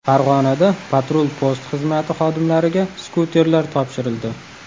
Farg‘onada patrul-post xizmati xodimlariga skuterlar topshirildi.